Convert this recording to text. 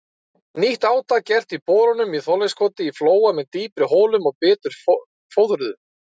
Nýtt átak gert í borunum í Þorleifskoti í Flóa með dýpri holum og betur fóðruðum.